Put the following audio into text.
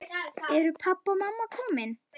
Eru pabbi og mamma komin?